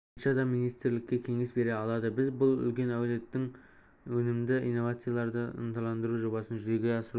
бойынша да министрлікке кеңес бере алады біз бұл әлеует өнімді инновацияларды ынталандыру жобасын жүзеге асыру